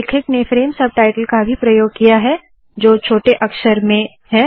लेखक ने frame subtitle का भी प्रयोग किया है जो छोटे अक्षर में है